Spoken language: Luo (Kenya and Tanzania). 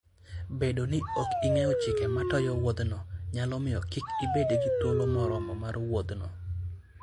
Bedo ni ok ing'eyo chike matayo wuodhno, nyalo miyo kik ibed gi thuolo moromo mar wuodhno.